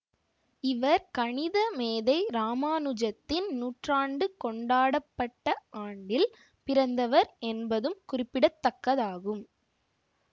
இவர் கணித மேதை ராமானுஜத்தின் நூற்றாண்டு கொண்டாடப்பட்ட ஆண்டில் பிறந்தவர் என்பதும் குறிப்பிடத்தக்கதாகும்